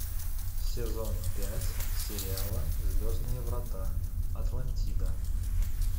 сезон пять сериала звездные врата атлантида